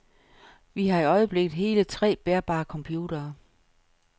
Vi har i øjeblikket hele tre bærbare computere.